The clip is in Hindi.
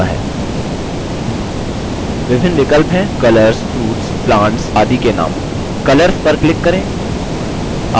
विभिन्न विकल्प हैं colors fruits plants आदि के नाम colors पर क्लिक करें